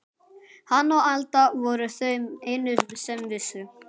Hann og Alda voru þau einu sem vissu.